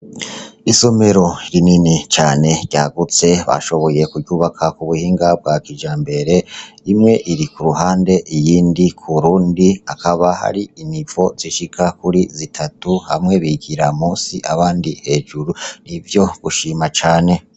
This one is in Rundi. Isomero rinini cane ryagutse bashoboye kuryubaka kubuhinga bwa kijambere, umwe iri k'uruhande iyindi k'urundi, akaba ari inivo zishika kuri zitatu, hamwe bigira munsi abandi hejuru, nivyo gushima cane .